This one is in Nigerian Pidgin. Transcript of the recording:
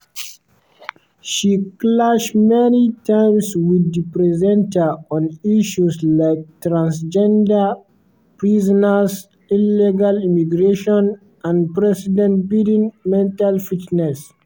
she clash many times with di presenter on issues like transgender prisoners illegal immigration and president biden mental fitness.